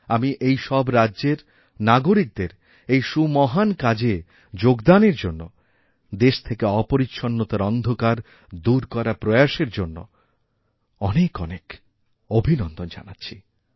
আমি এই সবরাজ্যের নাগরিকদের এই সুমহান কাজে যোগদানের জন্য দেশ থেকে অপরিচ্ছন্নতার অন্ধকারদূর করার প্রয়াসের জন্য অনেক অনেক অভিনন্দন জানাচ্ছি